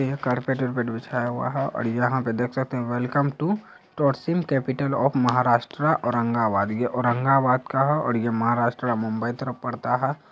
यहाँ कारपेट वार्पेट बिछाया हुआ है और यहाँ पे देख सकते है welcome to tourism capital of Maharashtra Aurangabad. ये औरंगाबाद का है और ये महाराष्ट्र मुंबई तरफ पड़ता है।